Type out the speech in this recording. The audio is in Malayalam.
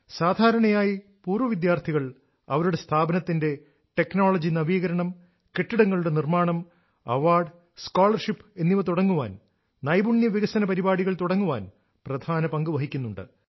സാധാരണയായി പൂർവ വിദ്യാർഥികൾ അവരുടെ സ്ഥാപനത്തിന്റെ ടെക്നോളജി നവീകരണം കെട്ടിട നിർമാണം അവാർഡ് സ്കോളർഷിപ്പ് എന്നിവ തുടങ്ങാൻ നൈപുണ്യ വികസന പരിപാടികൾ തുടങ്ങാൻ പ്രധാന പങ്ക് വഹിക്കുന്നുണ്ട്